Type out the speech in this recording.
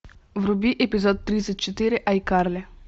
вруби эпизод тридцать четыре айкарли